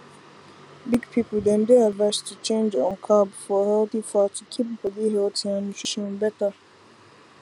big people dem dey advised to change um carb for healthy fat to keep body healthy and nutrition better